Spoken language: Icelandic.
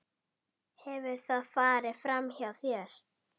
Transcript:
Hefur það farið framhjá þér?